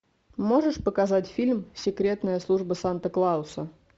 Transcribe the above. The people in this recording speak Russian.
можешь показать фильм секретная служба санта клауса